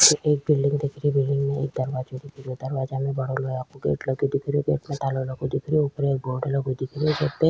एक बिलडिंग दिख री बिलडिंग में एक दरवाजो दिखे रो गेट लगो दिखे रो गेट में ताला लगो दिखे रो ऊपर एक बोर्ड लगो दिखे रो गेट जेपे --